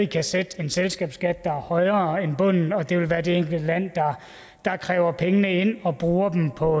kan sætte en selskabsskat der er højere end bunden og det vil være det enkelte land der kræver pengene ind og bruger dem på